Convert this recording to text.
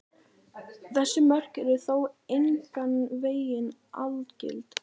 Þessi mörk eru þó engan veginn algild.